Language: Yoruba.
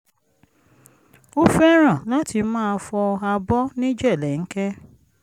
ó fẹ́ràn láti máa fọ abọ́ ní jèlẹ́ńkẹ́